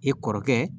I kɔrɔkɛ